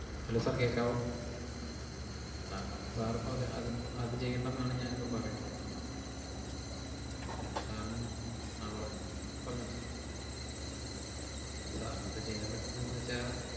Hello sir കേക്കാവോ? ആഹ് ~പ്പം sir ഇപ്പം അത് അത് ഇപ്പ~ അത് ചെയ്യണ്ടന്നാണ് ഞാനിപ്പം പറയുന്നത് അഹ് sir ന് ആഹ് പറഞ്ഞോ പറഞ്ഞോ sir sir നിപ്പം ചെയ്യാൻ പറ്റുന്നേന്നു വെച്ചാ,